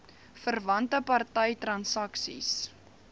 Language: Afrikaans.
verwante party transaksies